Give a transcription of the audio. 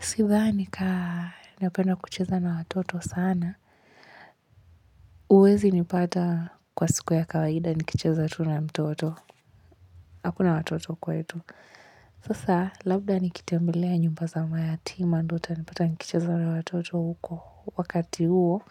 Sidhani kaa napenda kucheza na watoto sana huwezi nipata kwa siku ya kawaida. Nikicheza tu na mtoto hakuna watoto kwetu sasa labda nikitembelea nyumba za mayatima ndo utanipata nikicheza na watoto huko wakati huo